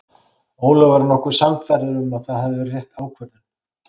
Ólafur var nokkuð sannfærður að það hafi verið rétt ákvörðun.